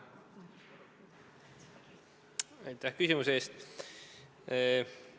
Aitäh küsimuse eest!